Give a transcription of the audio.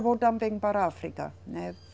Vou também para a África, né.